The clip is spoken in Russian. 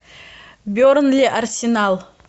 бернли арсенал